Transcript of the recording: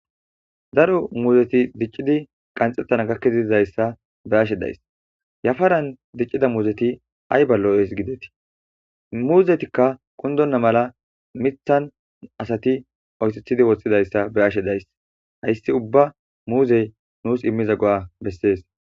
Daru muuzeti diccidi qanxettana gakkezidizayssa beashe days yafaran diccida muuzeti ay ballo7ees gidetii muuzetikka qundonna mala mithan asati oysethidi woththidayssa be ashe days hayssi ubba muuzey nuus immiza go7a bessees